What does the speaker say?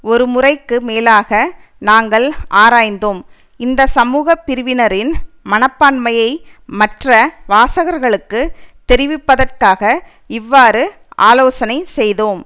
ஒரு முறைக்கு மேலாக நாங்கள் ஆராய்ந்தோம் இந்த சமூக பிரிவினரின் மனப்பான்மையை மற்ற வாசகர்களுக்கு தெரிவிப்பதற்காக இவ்வாறு ஆலோசனை செய்தோம்